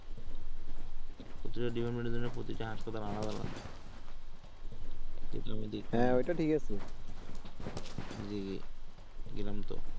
প্রতিটা department এর জন্য প্রতিটা হাসপাতাল আলাদা আলাদা আমি দেখছি জি গেলাম তো